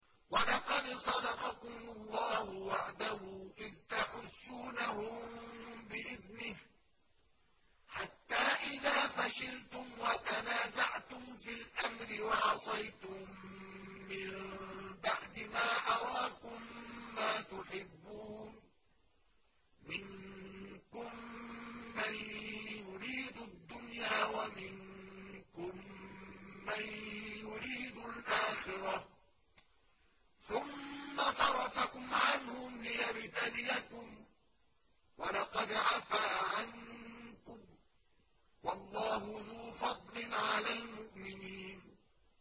وَلَقَدْ صَدَقَكُمُ اللَّهُ وَعْدَهُ إِذْ تَحُسُّونَهُم بِإِذْنِهِ ۖ حَتَّىٰ إِذَا فَشِلْتُمْ وَتَنَازَعْتُمْ فِي الْأَمْرِ وَعَصَيْتُم مِّن بَعْدِ مَا أَرَاكُم مَّا تُحِبُّونَ ۚ مِنكُم مَّن يُرِيدُ الدُّنْيَا وَمِنكُم مَّن يُرِيدُ الْآخِرَةَ ۚ ثُمَّ صَرَفَكُمْ عَنْهُمْ لِيَبْتَلِيَكُمْ ۖ وَلَقَدْ عَفَا عَنكُمْ ۗ وَاللَّهُ ذُو فَضْلٍ عَلَى الْمُؤْمِنِينَ